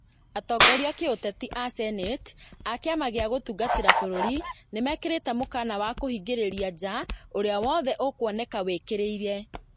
Atongoria a kĩũteti a Senati a kĩama gĩa gũtũũgĩria bũrũri nĩmekĩrĩte mũkana wa kũhingĩrĩria nja ũrĩa wothe ũkwonekana wĩĩkĩrĩire